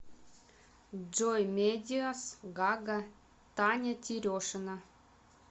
джой медиас гага таня терешина